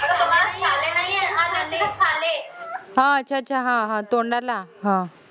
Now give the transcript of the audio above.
हं अच्छा अच्छा हं हं तोंडाला